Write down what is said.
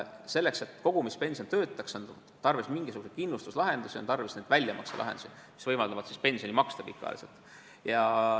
Selleks, et kogumispension töötaks, on tarvis mingisuguseid kindlustuslahendusi, on tarvis väljamakselahendusi, mis võimaldaksid maksta pensioni pikaajaliselt.